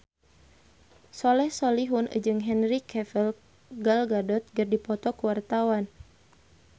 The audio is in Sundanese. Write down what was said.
Soleh Solihun jeung Henry Cavill Gal Gadot keur dipoto ku wartawan